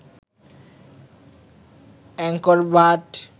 Angkor Bhatt